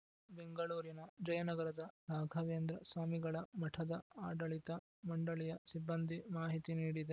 ಬೆಂಗಳೂರಿನ ಜಯನಗರದ ರಾಘವೇಂದ್ರ ಸ್ವಾಮಿಗಳ ಮಠದ ಆಡಳಿತ ಮಂಡಳಿಯ ಸಿಬ್ಬಂದಿ ಮಾಹಿತಿ ನೀಡಿದೆ